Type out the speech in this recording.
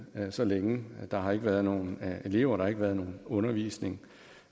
så længe der har ikke været nogen elever der har ikke været nogen undervisning